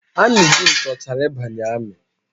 Anyị dum chọchara ịbanye amị